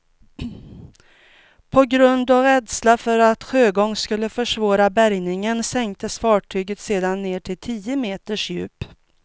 På grund av rädsla för att sjögång skulle försvåra bärgningen sänktes fartyget sedan ned till tio meters djup.